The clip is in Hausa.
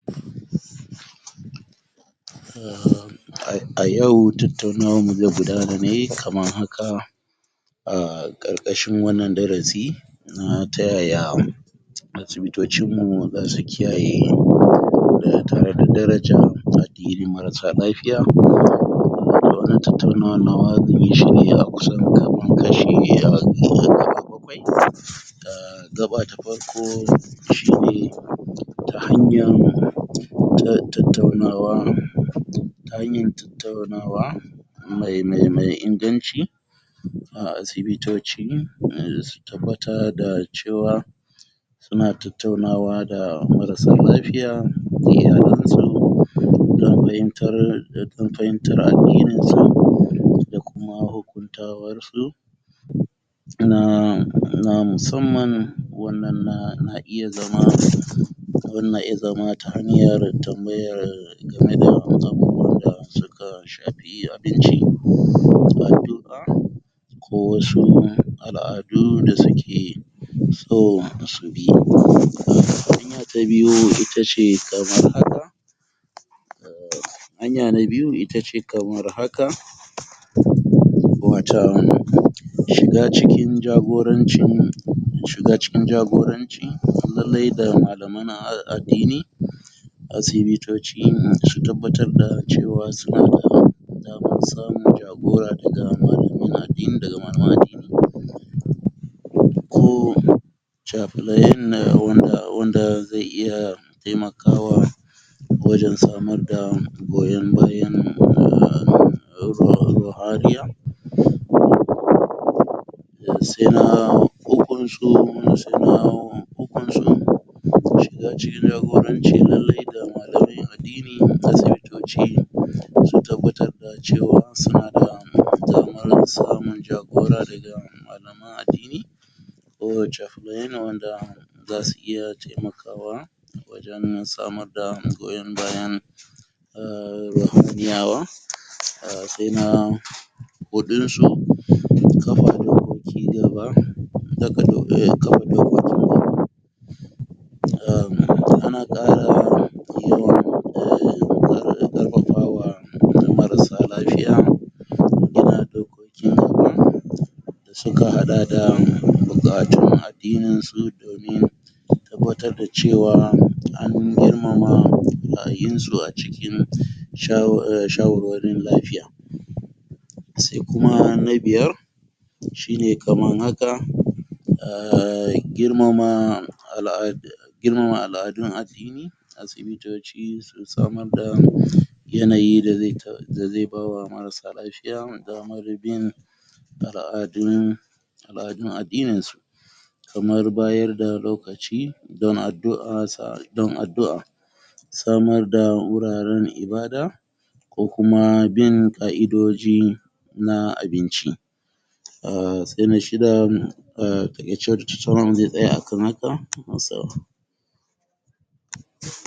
A yau tattaunawanmu ze gudana ne kaman haka a ƙarƙashin wannan darasi um ta yaya asibitocinmu za su kiyaye tare da darajan um daliln marasa lafiya wannan tattaunawan nawa zan yi shi ne a kusan kaman kashi um gaɓa bakwai um gaɓa ta farko shi ne ta hanyan tattaunawa ta hanyan tattaunawa me inganci a asibitoci su tabbata da cewa su na tattaunawa da marasa lafiya da iyalansu don fahimtar don fahimtar addininsa da kuma hukuntawarsu na um musamman wannan na iya zama na iya zama ta hanyar tambayar game da abubuwan da suka shafi abinci a duk ko wasu al'adu da suke so su bi in ya ta biyu ita ce kamar haka hanya na biyu ita ce kamar haka watan shiga cikin jagorancin shiga cikin jagoranci lalle da malaman addini asibitoci su tabbar da cewa su na da damar samun jagora daga malaman addini ko temakawa wajen samar da goyon bayan se na ukun su se na ukun su shiga cikin jagoranci lalle da malamai addini su tabbatar cewa su na da damar samun jagora daga na addini kowace za su iya taimakawa wajen samar da goyon bayan a um se na huɗun su kamar cigaba daga kafa dokokin umm ana ƙara um yawan um ƙarfafawa marasa lafiya yin hakan su ka haɗa da buƙatun addininsu domin su tabbatar da cewa an girmama ra'ayinsu a ciki shawarwarin lafiya se kuma na biyar shi ne kaman haka um a girmama al'ada girmama al'adun addini asibitoci su samar da yanayi da ze ba wa marasa lafiya damar bin al'adun al'adun addininsu kamar bayar da lokaci don addu'ar sa don addu'a samar da wuraren ibada ko kuma bin ƙa'idoji na a binci um se na shida a taƙai ce sauran sai zai tsaya a kan haka.